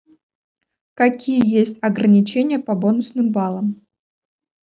какие есть ограничения по бонусным баллам